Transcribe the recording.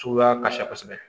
Suguya ka ca kosɛbɛ